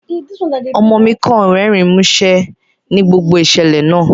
Ọmo mi kan rẹrin musẹ ni gbogbo iṣẹlẹ naa